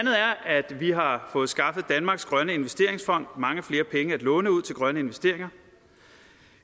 at vi har fået skaffet danmarks grønne investeringsfond mange flere penge at låne ud til grønne investeringer